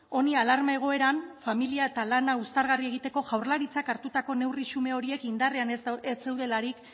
honi alarma egoeran familia eta lana uztargarri egiteko jaurlaritzak hartutako neurri xume horiek indarrean ez zeudelarik